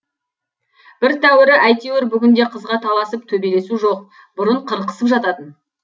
бір тәуірі әйтеуір бүгінде қызға таласып төбелесу жоқ бұрын қырқысып жататын